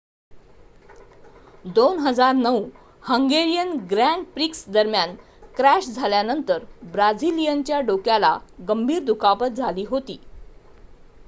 2009 Hungarian Grand Prix दरम्यान crash झाल्यानंतर ब्राझिलियनच्या डोक्याला गंभीर दुखापत झाली होती